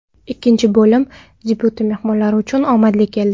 Ikkinchi bo‘lim debyuti mehmonlar uchun omadli keldi.